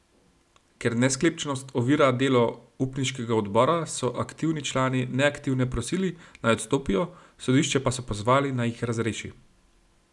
Ker nesklepčnost ovira delo upniškega odbora, so aktivni člani neaktivne prosili, naj odstopijo, sodišče pa so pozvali, naj jih razreši.